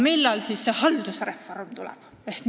Millal me hakkame sisust rääkima?